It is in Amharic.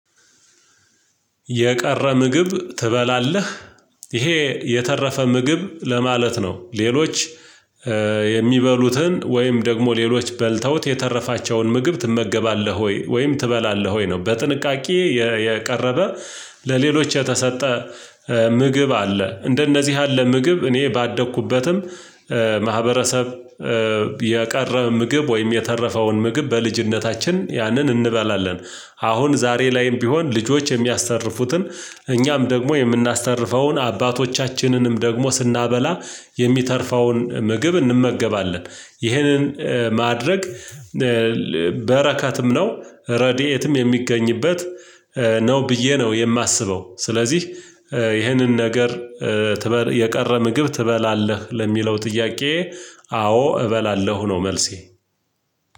የቀረ ምግብ ትበላለህ? ይሄ የተረፈ ምግብ ለማለት ነው ሌሎች የሚበሉትን ወይም ደግሞ ሌሎች በልተውት የተረፋቸውን ምግብ ትመገባለህ ወይ ወይም ትበላለህ ወይ ነው በጥንቃቄ የቀረበ ለሌሎች የተሰጠ ምግብ አለ፤ እንደነዚህ ያለ ምግብ እኔ ባደኩበትም ማህበረሰብ የቀረ ምግብ ወይም የተረፈውን ምግብ በልጅነታችን ያንን እንበላለን። አሁን ዛሬ ላይም ቢሆን ልጆች የሚያስተርፉትን እኛም ደግሞ የምናስተርፈውን አባቶቻችንንም ደግሞ ስናበላ የሚተርፈውን ምግብ እንመገባለ፤ ይህንን ማድረግ በረከትም ነው፤ ረድኤትም የሚገኝበት ነው ብዬ ነው የማስበው። ስለዚህ ይህንን ነገር የቀረ ምግብ ትበላለህ ለሚለው ጥያቄየ አዎ እበላለሁ ነው መልሴ።